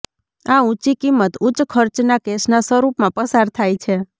આ ઊંચી કિંમત ઉચ્ચ ખર્ચના કેશના સ્વરૂપમાં પસાર થાય છે